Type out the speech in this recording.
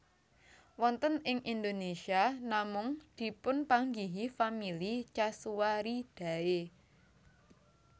Wonten ing Indonésia namung dipunpanggihi famili casuaridae